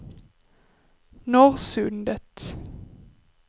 Norrsundet